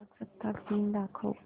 प्रजासत्ताक दिन दाखव